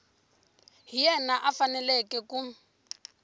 hi yena a faneleke ku